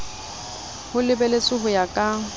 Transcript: ho lebeletswe ho ya ka